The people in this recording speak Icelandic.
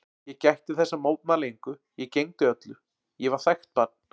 Ég gætti þess að mótmæla engu, ég gegndi öllu, ég var þægt barn.